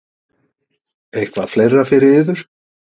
Eitthvað fleira fyrir yður?